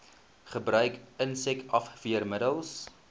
gebruik insek afweermiddels